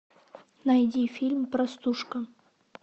найди фильм простушка